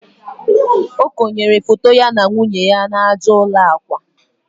o konyere foto ya na nwunye ya n'aja ụlọ akwa